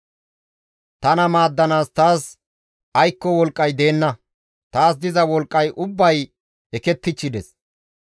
Tana maaddanaas taas aykko wolqqay deenna; taas diza wolqqay ubbay eketichchides.